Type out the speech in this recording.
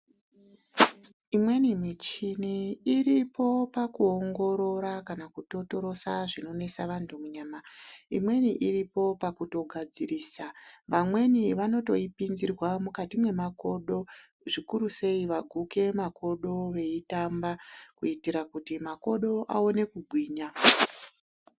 Imweni michini iripo pakuongorora kana kutotorosa zvinonesa vantu munyama imweni iripo pakutogadzirisa vamweni vanotoipinzirwa mukati memakodo zvikuru sei waguke makodo weitamba kutira kuti makodo aone kugwinya.